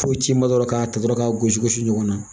Fo ci ma dɔrɔn k'a ta dɔrɔn k'a gosi gosi ɲɔgɔn na